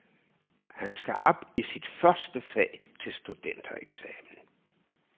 Han skal op i sit første fag til studentereksamen.